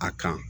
A kan